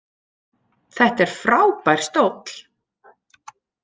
Þetta er frábær stóll.